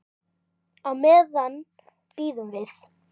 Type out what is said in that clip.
Á meðan bíðum við.